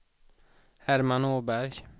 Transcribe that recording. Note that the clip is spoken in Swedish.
Herman Åberg